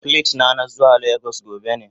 Plit na, na zuwa lagos gobe ne.